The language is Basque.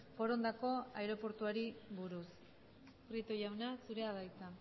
forondako aireportuari buruz prieto jauna zurea da hitza